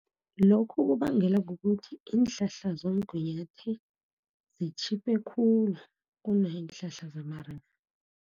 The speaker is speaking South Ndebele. Lokhu kubangelwa kukuthi iinhlahla zomgunyathi zitjhiphe khulu, kuneenhlahla zamarerhe.